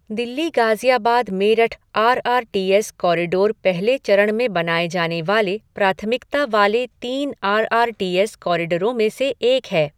Delhi Ghaziabad Meerut R R T S corridor पहले चरण में बनाए जाने वाले प्राथमिकता वाले तीन आर आर टी एस कॉरिडोरों में से एक है।